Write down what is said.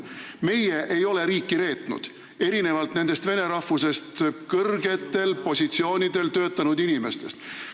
Meie ei ole riiki reetnud, erinevalt nendest vene rahvusest kõrgetel positsioonidel töötanud inimestest.